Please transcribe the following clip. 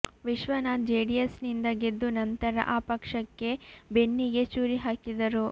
Vishwanath JDS ನಿಂದ ಗೆದ್ದು ನಂತರ ಆ ಪಕ್ಷಕ್ಕೇ ಬೆನ್ನಿಗೆ ಚೂರಿ ಹಾಕಿದರು